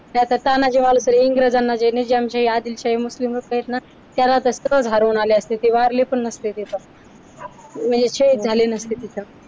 नाहीतर तानाजी मालुसरे इंग्रजांना निजामशाही आदिलशाही मुस्लिम लोक आहेत ना एकत्र धावून आले असते ते वारले पण नसते तिथं म्हणजे शहीद झाले नसते तिथ